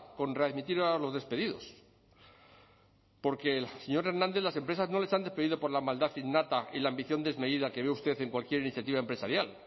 con readmitir a los despedidos porque señor hernández las empresas no les han despedido por la maldad innata y la ambición desmedida que ve usted en cualquier iniciativa empresarial